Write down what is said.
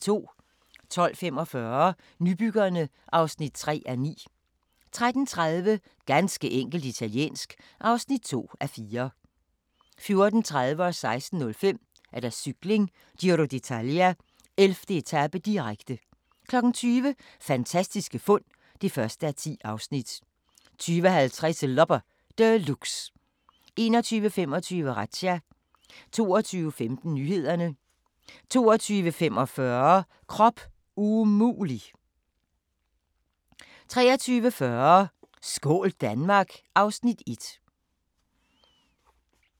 12:45: Nybyggerne (3:9) 13:30: Ganske enkelt italiensk (2:4) 14:30: Cykling: Giro d'Italia - 11. etape, direkte 16:05: Cykling: Giro d'Italia - 11. etape, direkte 20:00: Fantastiske fund (1:10) 20:50: Loppe Deluxe 21:25: Razzia 22:15: Nyhederne 22:45: Krop umulig! 23:40: Skål Danmark! (Afs. 1)